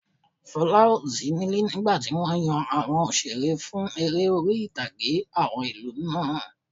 Fola ò sí níle nígbàtí wọ́n yan àwọn òṣeré fún eré orí-ìtàgé àwọn ìlú náà